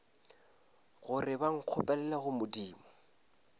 gore ba nkgopelele go modimo